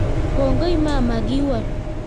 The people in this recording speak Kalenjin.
Kongoi mama, kiwol